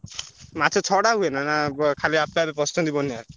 ମାଛ ଛଡା ହୁଏ ନା ନା ବ ଖାଲି ଆପେ ଆପେ ପସିଛନ୍ତି ବନ୍ୟାରେ?